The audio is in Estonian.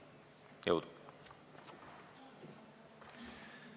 Jõudu!